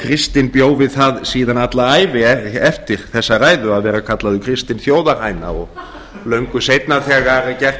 kristinn bjó við það síðan alla ævi eftir þessa ræðu að vera kallaður kristinn þjóðarhæna og löngu seinna þegar gert